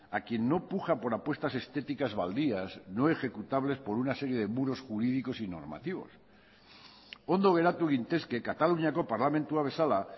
a quien no puja por apuestas estéticas baldías no ejecutables por una serie de muros jurídicos y normativos ondo geratu gintezke kataluniako parlamentua bezala